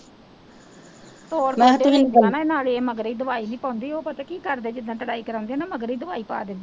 ਹੋਰ ਤੁਸੀਂ ਜਾਣਾ ਨਾਲੇ, ਮਗਰੇ ਦਵਾਈ ਨਹੀਂ ਪਾਉਂਦੀ ਉਹ ਪਤਾ ਕੀ ਕਰਦੇ ਜਿਦਾਂ ਗਡਾਈ ਕਰਾਉਂਦੇ ਨਾ ਮਗਰੇ ਹੀ ਦਵਾਈ ਪਾ ਦਿੰਦੇ ਹੈ